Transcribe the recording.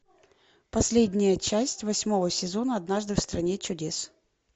последняя часть восьмого сезона однажды в стране чудес